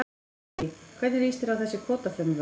Lillý: Hvernig líst þér á þessi kvótafrumvörp?